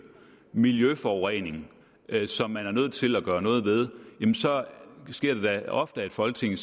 miljøforurening som man er nødt til at gøre noget ved jamen så sker det da ofte at folketinget